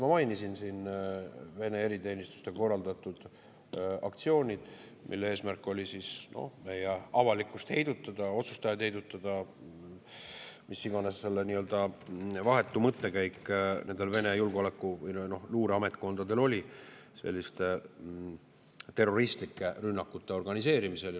Ma mainisin siin Vene eriteenistuste korraldatud aktsioone, mille eesmärk oli meie avalikkust heidutada, otsustajaid heidutada, mis iganes see vahetu mõttekäik nendel Vene julgeoleku‑ või luureametkondadel oli selliste terroristlike rünnakute organiseerimisel.